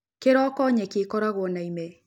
Kĩroko nyeki ĩkoragwo na ime